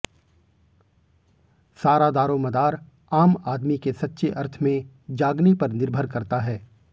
सारा दारोमदार आम आदमी के सच्चे अर्थ में जागने पर निर्भर करता है